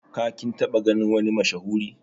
Ka /kin taba ganin wani mashahuri?